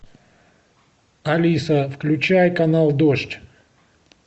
алиса включай канал дождь